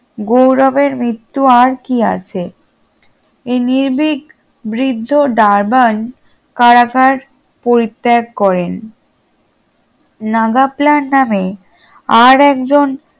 গৌরবের মৃত্যু আর কি আছে এই নির্ভীক বৃদ্ধ ডারবান কারাগার পরিত্যাগ করেন নাগাপ্ল্যান নামে আর এক জন